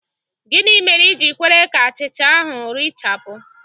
Gịnị mere i ji kwere ka achịcha ahụ rechapụ?